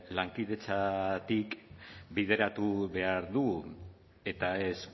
lankidetzatik bideratu behar dugu eta ez